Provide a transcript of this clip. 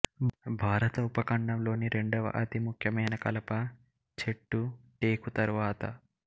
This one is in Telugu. భారత ఉపఖండంలోని రెండవ అతి ముఖ్యమైన కలప చెట్టు టేకు తరువాత